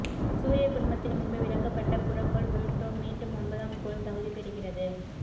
சூரிய குடும்பத்தில் முன்பு விலக்கப்பட்ட புறக்கோள் புளுடோ மீண்டும் ஒன்பதாம் கோள் தகுதி பெறுகிறது